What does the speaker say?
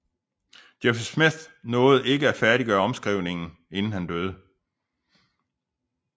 Joseph Smith nåede ikke at færdiggøre omskrivningen inden han døde